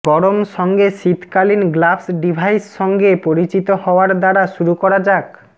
গরম সঙ্গে শীতকালীন গ্লাভস ডিভাইস সঙ্গে পরিচিত হওয়ার দ্বারা শুরু করা যাক